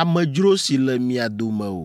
amedzro si le mia dome o,